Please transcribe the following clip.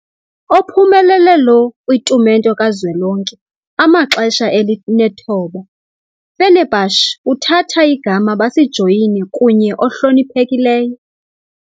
Ophumelele lo kwitumente kazwelonke amaxesha elinethoba, Fenerbahçe kuthatha igama basijoyine kunye ohloniphekileyo.